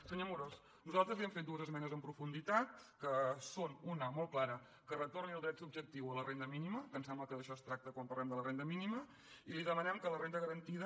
senyor amorós nosaltres li hem fet dues esmenes en profunditat que són una molt clara que retorni el dret subjectiu a la renda mínima que em sembla que d’això es tracta quan parlem de la renda mínima i li demanem que la renda garantida